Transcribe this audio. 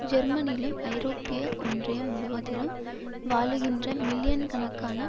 ஜெர்மனிலும் ஐரோப்பிய ஒன்றியம் முழுவதிலும் வாழுகின்ற மில்லியன்கணக்கான